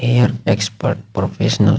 hair expert professional --